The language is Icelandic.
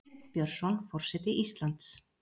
Sveinn Björnsson forseti Íslands